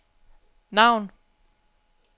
navn